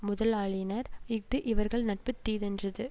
முதலாயினார் இஃது இவர்கள் நட்பு தீதென்றது